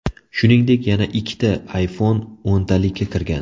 Shuningdek, yana ikkita iPhone o‘ntalikka kirgan.